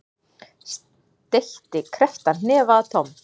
Steytti krepptan hnefa að Tom.